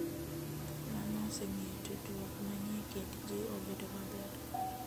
Mano osemiyo tudruok manie kind ji obedo maber.